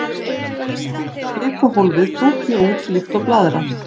Segja má að kvikuhólfið tútni út líkt og blaðra.